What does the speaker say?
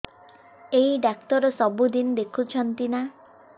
ଏଇ ଡ଼ାକ୍ତର ସବୁଦିନେ ଦେଖୁଛନ୍ତି ନା